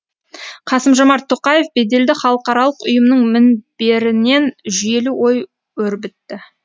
қасым жомарт тоқаев беделді халықаралық ұйымның мінберінен жүйелі ой өрбітті